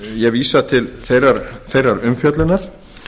ég vísa til þeirrar umfjöllunar